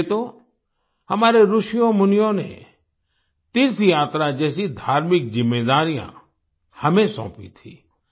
इसीलिये तो हमारे ऋषियों मुनियों ने तीर्थयात्रा जैसी धार्मिक जिम्मेदारियाँ हमें सौंपी थीं